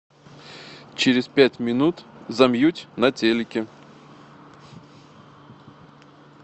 через пять минут замьють на телике